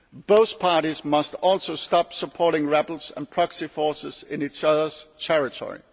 Both parties must also stop supporting rebels and proxy forces in each other's territory.